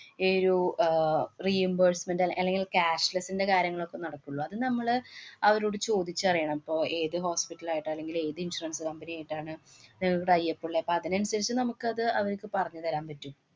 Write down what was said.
ഏർ ~രു ah reimbursement അല്ലെ~ അല്ലെങ്കില്‍ cashless ന്‍റെ കാര്യങ്ങളൊക്കെ നടക്കുള്ളു, അത് നമ്മള് അവരോട് ചോദിച്ചറിയണം. പ്പൊ ഏത് hospital ആയിട്ടാ, അല്ലെങ്കിൽ ഏത് insurance company യിട്ടാണ് നിങ്ങക്ക് tie up ഉള്ളെ. പ്പൊ അതിനനുസരിച്ച് നമുക്കത് അവര്ക്ക് പറഞ്ഞു തരാന്‍ പറ്റും.